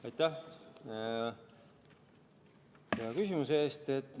Aitäh hea küsimuse eest!